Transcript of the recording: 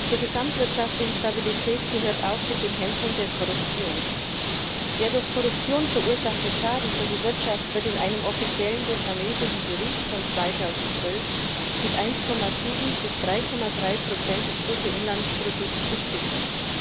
Zur gesamtwirtschaftlichen Stabilität gehört auch die Bekämpfung der Korruption. Der durch Korruption verursachte Schaden für die Wirtschaft wird in einem offiziellen vietnamesischen Bericht von 2012 mit 1,7 bis 3,3 des Bruttoinlandsprodukts beziffert.